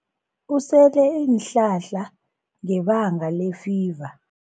Usele iinhlahla ngebanga lefiva.